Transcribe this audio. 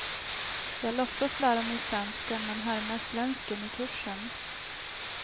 Jag låtsas lära mig franska men härmar svensken i kursen.